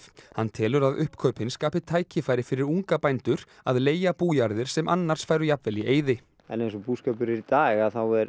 hann telur að uppkaupin skapi tækifæri fyrir unga bændur að leigja bújarðir sem annars færu jafnvel í eyði eins og búskapur er í dag